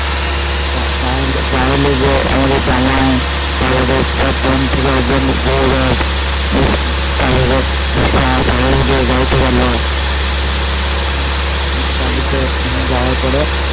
গায়ে হলুদে আমাদের জামাই তারপরে ওর বোন থেকে গৌরব তার পরে আর সবাই গাড়িতে উঠলো গাড়িতে যাওয়ার পরে